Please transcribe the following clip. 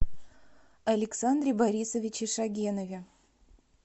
александре борисовиче шогенове